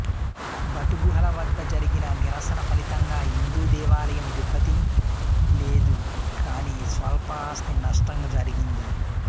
but గుహల వద్ద జరిగిన నిరసన ఫలితంగా హిందూ దేవాలయం దెబ్బతిన లేదు గానీ స్వల్ప ఆస్తి నష్టం జరిగింది